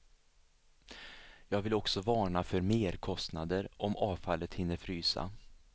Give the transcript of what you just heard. Jag vill också varna för merkostnader om avfallet hinner frysa.